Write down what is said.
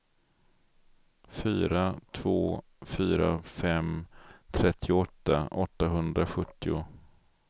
fyra två fyra fem trettioåtta åttahundrasjuttio